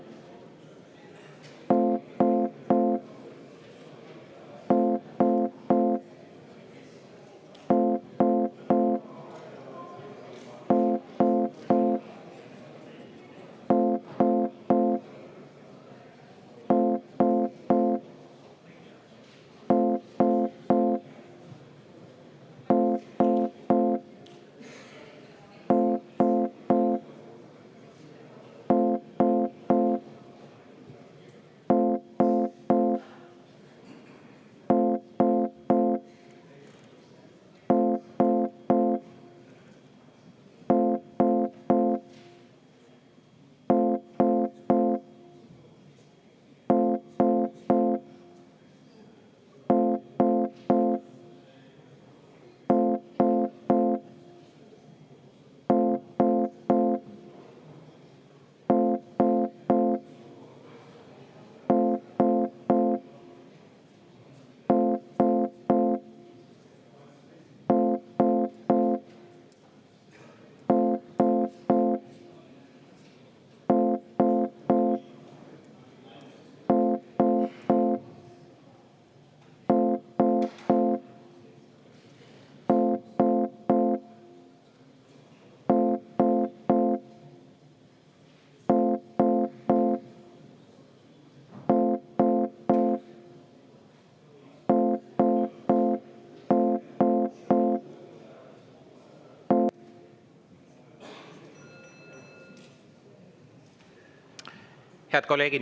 Head kolleegid!